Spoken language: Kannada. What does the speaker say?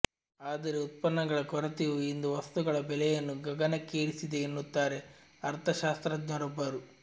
ಆದರೆ ಉತ್ಪನ್ನಗಳ ಕೊರತೆಯು ಇಂದು ವಸ್ತುಗಳ ಬೆಲೆಯನ್ನು ಗಗನಕ್ಕೇರಿಸಿದೆ ಎನ್ನುತ್ತಾರೆ ಅರ್ಥಶಾಸ್ತ್ರಜ್ಞರೊಬ್ಬರು